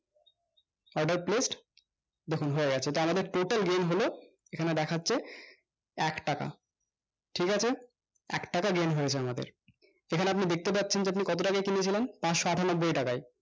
order placed আমাদের total gain হলো এখানে দেখাচ্ছে এক টাকা ঠিক আছে এক টাকা gain হয়েছে আমাদের এখানে আপনি দেখতে পাচ্ছেন যে আপনি কতো টাকায় কিনেছিলাম পাঁচশো আঠানব্বই টাকাই